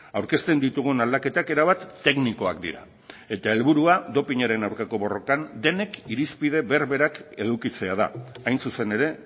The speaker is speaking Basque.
aurkezten ditugun aldaketak erabat teknikoak dira eta helburua dopinaren aurkako borrokan denek irizpide berberak edukitzea da hain zuzen ere